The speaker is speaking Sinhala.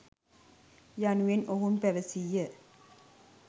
යනුවෙන් ඔවුන් පැවසීය.